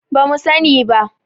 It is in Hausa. ba mu sani ba